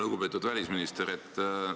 Lugupeetud välisminister!